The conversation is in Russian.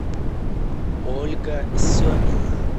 ольга семина